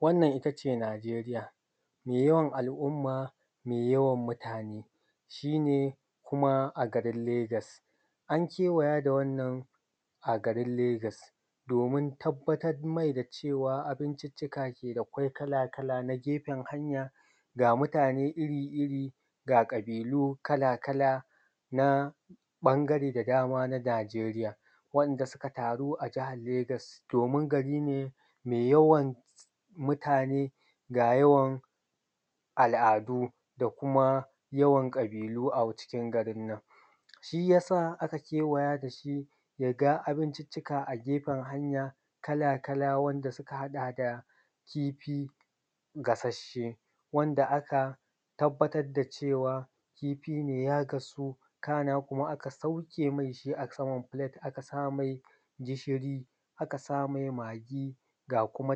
Wannan ita ce Najeriya mai yawan al’umma mai yawan mutane shi ne kuma a garin Legas an kewaya da wannan a garin Legas domin tabbatar mai da cewa abinciccki da ke akwai kala-kala na gefan hanya, ga mutane iri-iri ga ƙabilu kala-kala na ɓangare da dama na Najeriya wanda suka taru a jahar Legas domin gari ne mai yawan mutane, ga al’adu da kuma yawan ƙabilu. A cikin garin nan shi ya sa aka kewaya da shi ya ga abinciccika a gefan hanya kala-kala wanda suka haɗa da kifi gasashshe wanda aka tabbatar da cewa kifi ne ya gan su, sannan aka sauke me shi a saman filet aka same gishiri, aka same magi ga kuma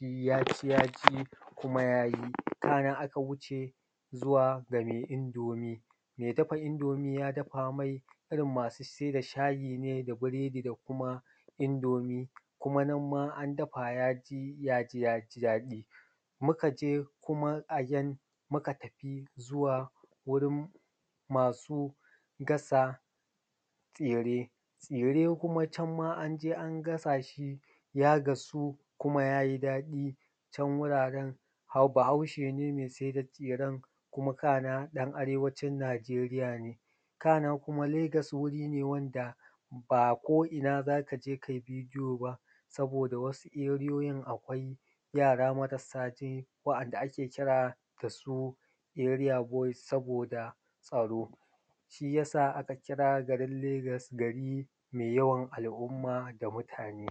yaji-yaji kuma ya yi kana in aka wuce zuwa game indomi, me dafa indomi ya dafa ne, irin masu sai da shayi ne da biredi da kuma indomi kuma nan ma ya ci ya ji daɗi, muka je kuma again muka tafi wurin masu gasa tsire-tsire kuma can ma an je an gasa shi ya gasu kuma ya yi daɗi can wuraren Bahaushe ne me sai da tsiren kuma kana ɗan arewacin Najeriya ne. Kana kuma Legas wuri ne wanda ba ko ina za ka je kai bidiyo ba saboda wasu ariyoyin akwai yara marasa ji wa’yanda ake kira da su area boys, saboda tsaro shi ya sa aka kira garin Legas gari me yawan al’umma da mutane.